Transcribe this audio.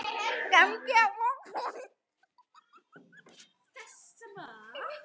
Komdu á morgun.